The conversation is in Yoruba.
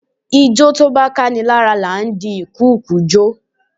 Ijó tó bá káni lára là ń di ìkùukùu jo.